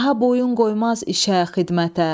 Daha boyun qoymaz işə, xidmətə.